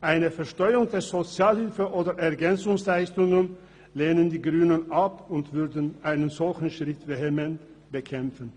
Eine Besteuerung der Sozialhilfe oder von Ergänzungsleistungen lehnen die Grünen ab und würden einen solchen Schritt vehement bekämpfen.